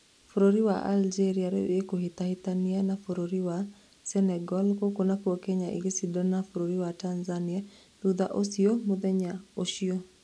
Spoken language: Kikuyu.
Bũrũri wa Algeria rĩu ĩkũhĩtahĩtana na bũrũri wa Senegal gũkû nakuo Kenya ĩgĩcindana na bũrũri wa Tanzania thutha ũcio mũthenya ũcio